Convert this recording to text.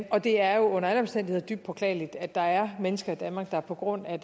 og det er jo under alle omstændigheder dybt beklageligt at der er mennesker i danmark der på grund af